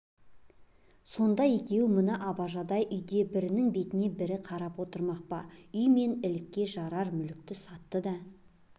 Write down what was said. сонда екеуі мына абажадай үйде бірінің бетіне бір қарап отырмақ па үй мен лікке жарар мүлікті сатты да